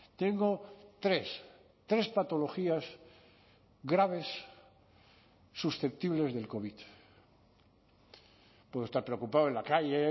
tengo tres tres patologías graves susceptibles del covid puedo estar preocupado en la calle